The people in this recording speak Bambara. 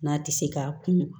N'a tɛ se ka kun